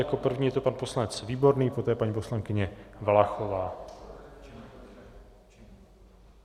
Jako první je to pan poslanec Výborný, poté paní poslankyně Valachová.